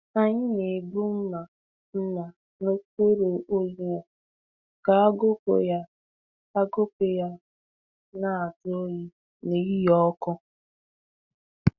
Anyị na-egbu mma mma n’okpuru onyinyo ka agụkpụ ya agụkpụ ya na-ajụ oyi n’ehihie ọkụ.